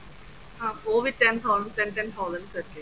ਹਾਂ ਓਹ ਵੀ ten thousand ten ten thousand ਕਰਕੇ